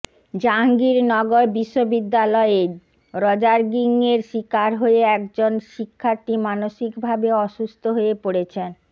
জাহাঙ্গীরনগর বিশ্ববিদ্যালয়ে র্যাগিং এর শিকার হয়ে একজন শিক্ষার্থী মানসিকভাবে অসুস্থ হয়ে পড়েছেন